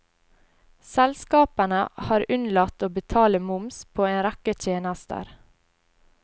Selskapene har unnlatt å betale moms på en rekke tjenester.